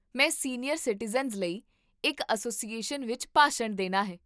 ਮੈਂ senior citizens ਲਈ ਇੱਕ ਐੱਸੋਸੀਏਸ਼ਨ ਵਿੱਚ ਭਾਸ਼ਣ ਦੇਣਾ ਹੈ